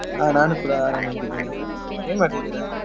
ಹಾ ನಾನು ಕೂಡ ಆರಾಮಾಗಿದೀನಿ ಏನ್ ಮಾಡ್ತಿದಿರ?